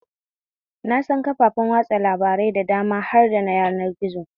Na san kafafen watsa labarai da dama har da na yanar gizo